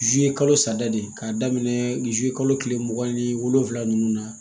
kalo saba de ye k'a daminɛ kalo kile mugan ni wolonwula nunnu na